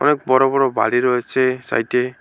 অনেক বড় বড় বাড়ি রয়েছে সাইট -এ।